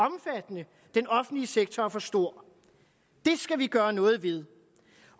den offentlige sektor er for stor det skal vi gøre noget ved